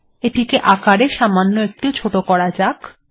এটিকে আকারে সামান্য একটু ছোট করা যাক